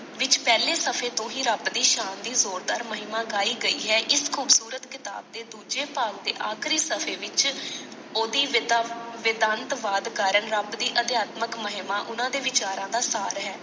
ਵਿਚ ਪਹਿਲੇ ਸ਼ਫ਼ੇ ਤੋਂ ਹੀ ਰੱਬ ਦੀ ਸ਼ਾਨ ਦੀ ਜ਼ੋਰਦਾਰ ਮਹਿਮਾ ਗਾਈ ਗਈ ਹੈ ਇਸ ਖੂਬਸੂਰਤ ਕਿਤਾਬ ਦੇ ਦੂਜੇ ਭਾਵ ਦੇ ਆਖਰੀ ਸ਼ਫ਼ੇ ਵਿਚ ਓਹਦੀ ਵੇਦਾ ਵੇਦਾੰਤਵਾਦ ਕਾਰਣ ਰੱਬ ਦੀ ਅਧਿਆਤਮਕ ਮਹਿਮਾ ਉਹਨਾਂ ਦੇ ਵਿਚਾਰਾਂ ਦਾ ਸਾਰ ਹੈ।